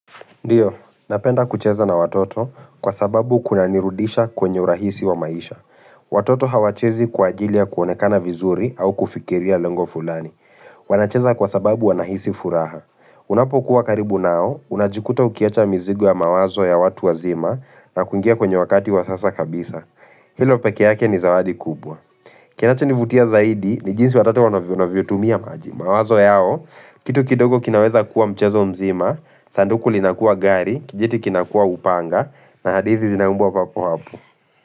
Ndio, napenda kucheza na watoto kwa sababu kunanirudisha kwenye urahisi wa maisha. Watoto hawachezi kwa ajili kuonekana vizuri au kufikiria lengo fulani. Wanacheza kwa sababu wanahisi furaha. Unapokuwa karibu nao, unajikuta ukiwacha mzigo ya mawazo ya watu wazima na kuingia kwenye wakati wa sasa kabisa. Hilo peke yake ni zawadi kubwa. Kinachonivutia zaidi ni jinsi watoto wanavyo tumia maji. Mawazo yao, kitu kidogo kinaweza kuwa mchezo mzima, sanduku linakua gari, kijiti kinakua upanga, na hadithi zinaumbwa papo hapo.